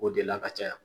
O de la ka caya